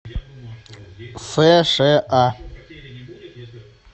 сша